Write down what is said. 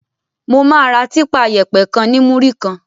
Mo máa ra típa yẹ̀pẹ̀ kan ní múrí kan.